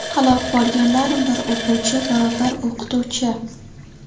Halok bo‘lganlar: bir o‘quvchi va bir o‘qituvchi.